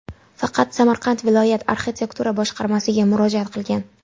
Faqat Samarqand viloyat arxitektura boshqarmasiga murojaat qilgan.